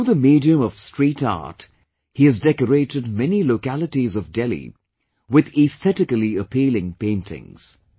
Through the medium of street art, he has decorated many localities of Delhi with aesthetically appealing paintings